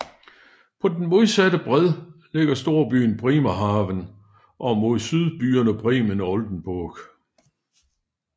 På den modsatte bred ligger storbyen Bremerhaven og mod syd byerne Bremen og Oldenburg